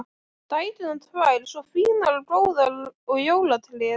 Dæturnar tvær svo fínar og góðar og jólatréð!